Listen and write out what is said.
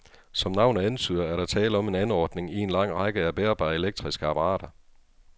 Som navnet antyder, er der tale om en anordning i en lang række af bærbare elektriske apparater.